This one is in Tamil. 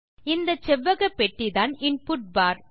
இந்த செவ்வகப்பெட்டிதான் இன்புட் பார்